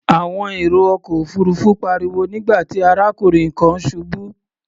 Àwọn èrò ọkọ̀ òfuurufú pariwo nígbà tí arákùnrin kan ṣubú.